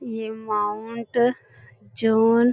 ये Mount John --